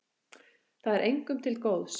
Það er engum til góðs.